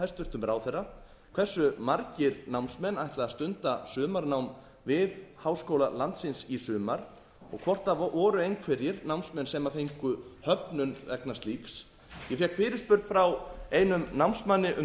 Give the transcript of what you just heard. hæstvirtum ráðherra hversu margir námsmenn ætla að stunda sumarnám við háskóla landsins í sumar og hvort það voru einhverjir námsmenn sem fengu höfnun vegna slíks ég fékk fyrirspurn frá einum námsmanni um